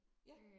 Ja